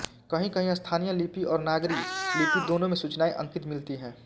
कहींकहीं स्थानीय लिपि और नागरी लिपि दोनों में सूचनाएँ अंकित मिलतीं हैं